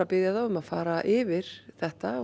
biðja þá að fara yfir þetta